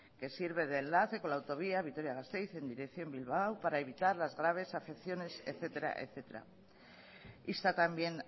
que sirve de enlace con la autovía vitoria gasteiz en dirección bilbao para evitar las graves afecciones etcétera etcétera insta también